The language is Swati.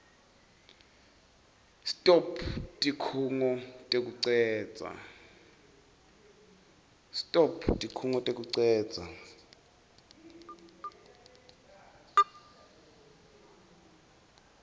stop tikhungo tekucedza